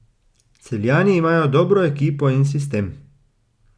Celjani imajo dobro ekipo in sistem.